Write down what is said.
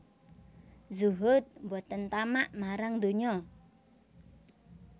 Zuhud boten tamak marang donyo